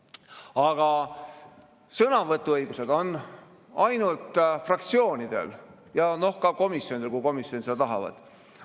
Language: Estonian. Aga sõnavõtuõigus on ainult fraktsioonidel ja komisjonidel, kui seda tahetakse.